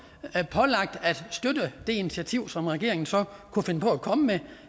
pålagt at støtte det initiativ som regeringen så kunne finde på at komme med